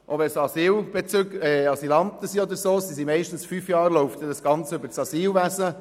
Bei Asylanten läuft das Ganze meistens fünf Jahre lang über das Asylwesen.